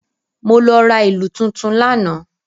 Mo lọ ra ìlú tuntun lánàá.